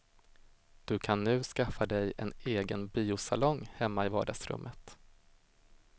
Du kan nu skaffa dig en egen biosalong, hemma i vardagsrummet.